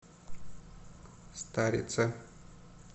старице